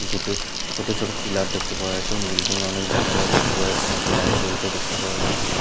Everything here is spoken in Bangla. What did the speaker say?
দুটি ছোট ছোট পিলার দেখতে পাওয়া যাচ্ছে এবং বিল্ডিং এ অনেক জানলাও দেখতে পাওয়া যাচ্ছে এবং একটি লাইট জ্বলতেও দেখতে পাওয়া যাচ্ছে।